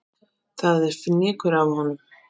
Það er fnykur af honum.